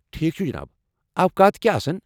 ٹھیكھ چھٗ جِناب اوقات كیاہ آسن ؟